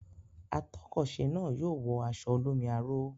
Atọ́kọ̀se náà yóò wọ aṣọ olómi aró.